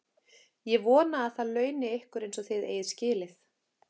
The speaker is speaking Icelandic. Ég vona, að það launi ykkur eins og þið eigið skilið.